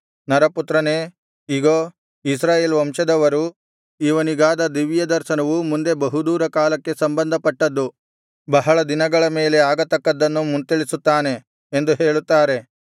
ನರಪುತ್ರನೇ ಇಗೋ ಇಸ್ರಾಯೇಲ್ ವಂಶದವರು ಇವನಿಗಾದ ದಿವ್ಯದರ್ಶನವು ಮುಂದೆ ಬಹುದೂರ ಕಾಲಕ್ಕೆ ಸಂಬಂಧಪಟ್ಟದ್ದು ಬಹಳ ದಿನಗಳ ಮೇಲೆ ಆಗತಕ್ಕದ್ದನ್ನು ಮುಂತಿಳಿಸುತ್ತಾನೆ ಎಂದು ಹೇಳುತ್ತಾರೆ